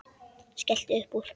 Skellti upp úr.